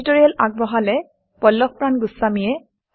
এই টিউটৰিয়েল আগবঢ়ালে পল্লভ প্ৰান গোস্ৱামীয়ে